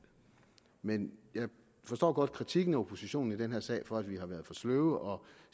men jeg forstår godt kritiserer oppositionen i den her sag for at vi har været for sløve og